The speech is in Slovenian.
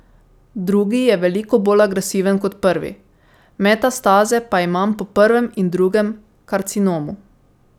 Drugi je veliko bolj agresiven kot prvi, metastaze pa imam po prvem in drugem karcinomu.